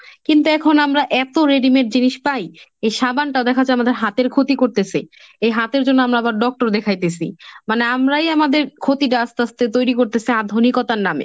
কিন্তু এখন আমরা এতো readymade জিনিস পাই এই সাবানটা দেখা যায় আমাদের হাতের ক্ষতি করতেসে, এই হাতের জন্য আমরা আবার doctor দেখাইতেসি, মানে আমরাই আমাদের ক্ষতিটা আস্তে আস্তে তৈরি করতেসি আধুনিকতার নামে।